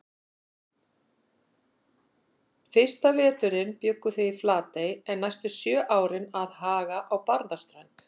Fyrsta veturinn bjuggu þau í Flatey en næstu sjö árin að Haga á Barðaströnd.